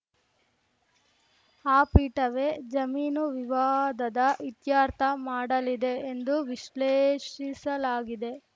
ಆ ಪೀಠವೇ ಜಮೀನು ವಿವಾದದ ಇತ್ಯರ್ಥ ಮಾಡಲಿದೆ ಎಂದು ವಿಶ್ಲೇಷಿಸಲಾಗಿದೆ